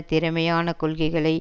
திறமையான கொள்கைகளை